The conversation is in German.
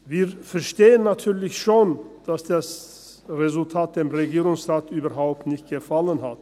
Wir verstehen natürlich schon, dass das Resultat dem Regierungsrat überhaupt nicht gefallen hat.